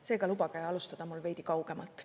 Seega lubage alustada mul veidi kaugemalt.